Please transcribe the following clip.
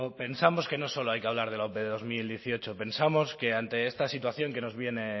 pensamos que no solo hay que hablar de la ope de bi mila hemezortzi pensamos que ante esta situación que nos viene